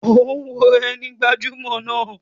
O wo ẹni gbajumọ náà.